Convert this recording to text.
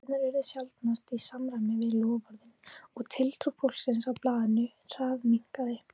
Efndirnar urðu sjaldnast í samræmi við loforðin og tiltrú fólksins á blaðinu hraðminnkaði.